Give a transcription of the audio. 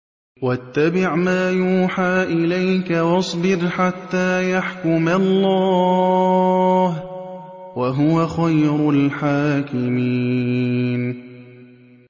وَاتَّبِعْ مَا يُوحَىٰ إِلَيْكَ وَاصْبِرْ حَتَّىٰ يَحْكُمَ اللَّهُ ۚ وَهُوَ خَيْرُ الْحَاكِمِينَ